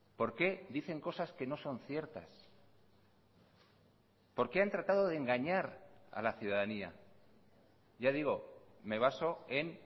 por qué dicen cosas que no son ciertas por qué han tratado de engañar a la ciudadanía ya digo me baso en